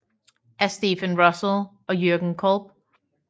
Af Stephen Russell og Jürgen Kolb